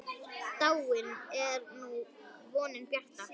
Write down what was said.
Dáin er nú vonin bjarta.